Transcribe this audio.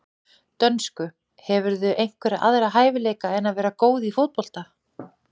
dönsku Hefurðu einhverja aðra hæfileika en að vera góð í fótbolta?